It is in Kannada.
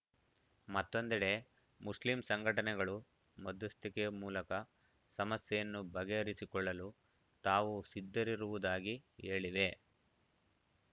ಮತ್ತೊಂದೆಡೆ ಮುಸ್ಲಿಂ ಸಂಘಟನೆಗಳು ಮಧ್ಯಸ್ಥಿಕೆ ಮೂಲಕ ಸಮಸ್ಯೆಯನ್ನು ಬಗೆಹರಿಸಿಕೊಳ್ಳಲು ತಾವು ಸಿದ್ಧರಿರುವುದಾಗಿ ಹೇಳಿವೆ